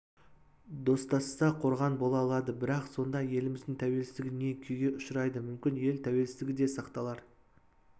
достасса қорған бола алады бірақ сонда еліміздің тәуелсіздігі не күйге ұшырайды мүмкін ел тәуелсіздігі де сақталар